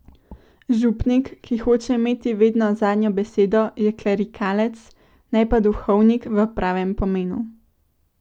Župnik, ki hoče imeti vedno zadnjo besedo, je klerikalec, ne pa duhovnik v pravem pomenu.